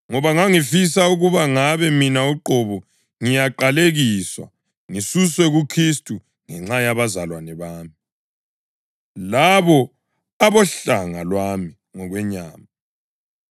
Ngoba ngangifisa ukuba ngabe mina uqobo ngiyaqalekiswa ngisuswe kuKhristu ngenxa yabazalwane bami, labo abohlanga lwami ngokwenyama,